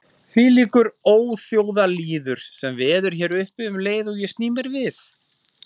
Þvílíkur óþjóðalýður sem veður hér uppi um leið og ég sný mér við.